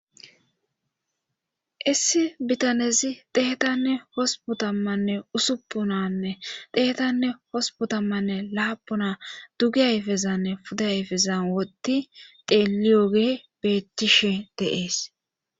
Issi bitanezi deetanne hosbotammanne usuppunanne deetanne hospotammanne laapuna dugi ayfezanne puda ayfezan woti teeli yoge beechishi deees.